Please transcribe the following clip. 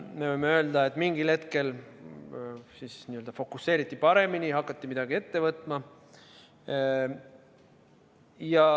Me võime öelda, et mingil hetkel fokuseeriti paremini, hakati midagi ette võtma.